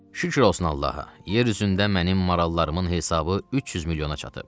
Şükür olsun Allaha, yer üzündə mənim marallarımın hesabı 300 milyona çatıb.